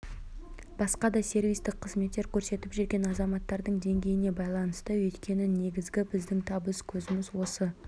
басқа да сервистік қызметтер көрсетіп жүрген азаматтардың деңгейіне байланысты өйткені негізгі біздің табыс көзіміз осы